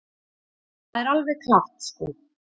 Það er alveg klárt sko.